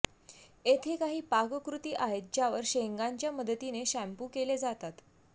येथे काही पाककृती आहेत ज्यावर शेंगांच्या मदतीने शैंपू केले जातात